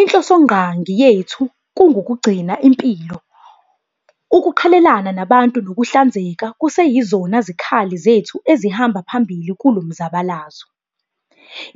Inhlosongqangi yethu ngukugcina impilo. Ukuqhelelana nabantu nokuhlanzeka kuseyizona zikhali zethu ezihamba phambili kulo mzabalazo.